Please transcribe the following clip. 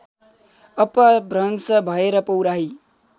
अपभ्रंश भएर पौराही